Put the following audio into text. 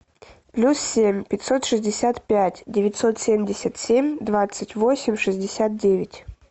плюс семь пятьсот шестьдесят пять девятьсот семьдесят семь двадцать восемь шестьдесят девять